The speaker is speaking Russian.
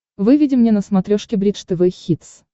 выведи мне на смотрешке бридж тв хитс